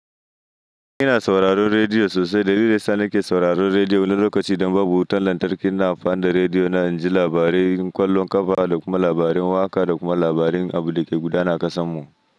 Ina sauraron rediyo sosai. Dalili daya sa nake sauraron rediyo na lokaci, adan babu wutan lantarki, na amfani da rediyo na inji labarai, ƙwallon ƙafa, da kuma labarin waƙa, da kuma labarin abin da ke gudana a ƙasan mu.